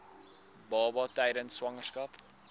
baba tydens swangerskap